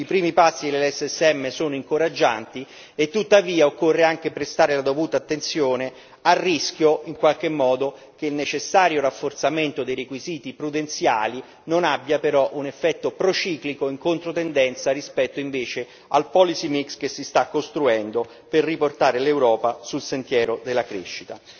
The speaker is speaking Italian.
I primi passi dell'SSM sono incoraggianti e tuttavia occorre anche prestare la dovuta attenzione al rischio, in qualche modo, che il necessario rafforzamento dei requisiti prudenziali non abbia però un effetto prociclico in controtendenza rispetto invece al policy mix che si sta costruendo per riportare l'Europa sul sentiero della crescita.